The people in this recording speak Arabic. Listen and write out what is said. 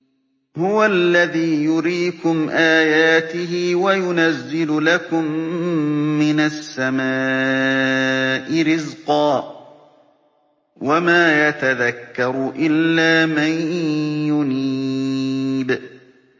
هُوَ الَّذِي يُرِيكُمْ آيَاتِهِ وَيُنَزِّلُ لَكُم مِّنَ السَّمَاءِ رِزْقًا ۚ وَمَا يَتَذَكَّرُ إِلَّا مَن يُنِيبُ